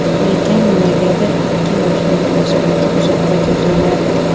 Lekin nimagadir ikki yoshning munosabati uzoqqa cho‘zilmadi.